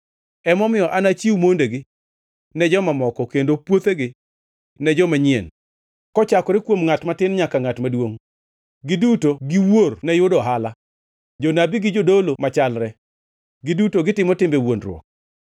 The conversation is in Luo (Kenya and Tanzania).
Emomiyo anachiw mondegi ne joma moko kendo puothegi ne jomanyien. Kochakore kuom ngʼat matin nyaka ngʼat maduongʼ, giduto giwuor ne yudo ohala; jonabi gi jodolo machalre, giduto gitimo timbe wuondruok.